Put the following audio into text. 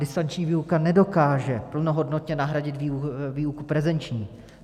Distanční výuka nedokáže plnohodnotně nahradit výuku prezenční.